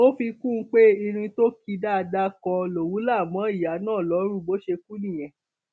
ó fi kún un pé irin tó ki dáadáa kan lòun la mọ ìyá náà lọrùn bó ṣe kú nìyẹn